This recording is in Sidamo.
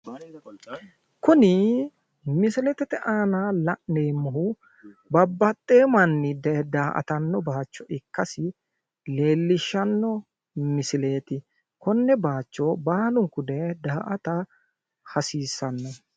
Kuni misilete aana la'neemmohu babbaxxewo manni dayee daa"atanno baayiicho ikkasi leellishshanno misileeti. konne baayicho baalunku daye daa"ata hasiissanno.